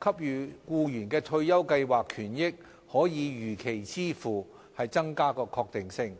給予僱員的退休計劃權益可如期支付增加確定性。